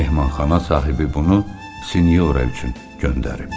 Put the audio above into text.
Mehmanxana sahibi bunu Sinyoora üçün göndərib.